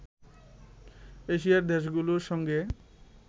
এশিয়ার দেশগুলোর সঙ্গে